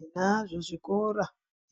Tinazvo zvikora